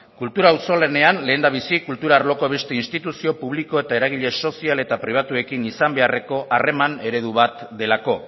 kultura auzolanean lehendabizi kultura arloko beste instituzio publiko eta eragile sozial eta pribatuekin izan beharreko harreman eredu bat delako